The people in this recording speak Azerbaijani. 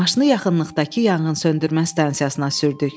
Maşını yaxınlıqdakı yanğınsöndürmə stansiyasına sürdük.